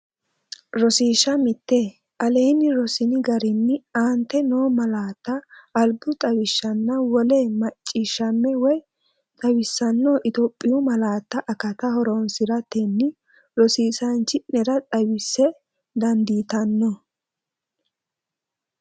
Rosiishsha Mite Aleenni Rossini garinni aante noo malaatta albu xawishshanna wole mac ciishshamme woy xawissanno Itophiyu malaatu akatta horoonsi’ratenni rosiisaanchi’nera xawisse, dandiitanno?